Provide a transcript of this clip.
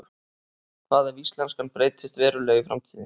Hvað ef íslenskan breytist verulega í framtíðinni?